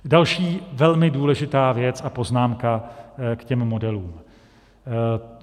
Další velmi důležitá věc a poznámka k těm modelům.